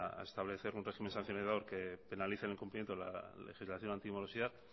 a establecer un régimen sancionador que penalice el incumplimiento de la legislación antimorosidad